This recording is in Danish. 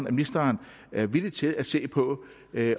at ministeren er villig til at se på